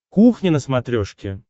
кухня на смотрешке